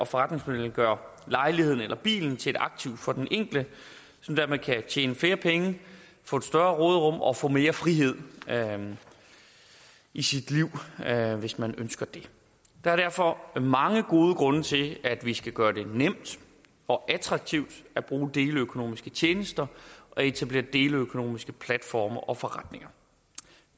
forretningsmodellen gør lejligheden eller bilen til et aktiv for den enkelte som dermed kan tjene flere penge få et større råderum og få mere frihed i sit liv hvis man ønsker det der er derfor mange gode grunde til at vi skal gøre det nemt og attraktivt at bruge deleøkonomiske tjenester og etablere deleøkonomiske platforme og forretninger